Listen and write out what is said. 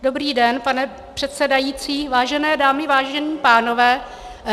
Dobrý den, pane předsedající, vážené dámy, vážení pánové.